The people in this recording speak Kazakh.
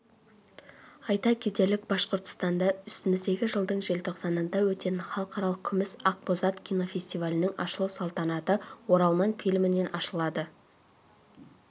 айта кетелік башқұртстанда үстіміздегі жылдың желтоқсанында өтетін халықаралық күміс ақбозат кинофестивалінің ашылу салтанаты оралман фильмімен ашылады